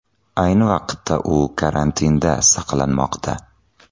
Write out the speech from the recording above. Ayni vaqtda u karantinda saqlanmoqda.